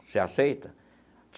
Você aceita?